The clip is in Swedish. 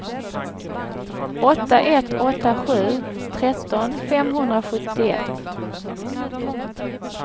åtta ett åtta sju tretton femhundrasjuttioett